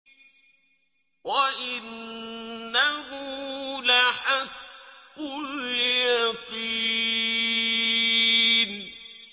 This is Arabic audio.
وَإِنَّهُ لَحَقُّ الْيَقِينِ